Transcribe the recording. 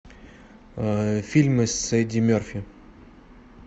фильмы с эдди мерфи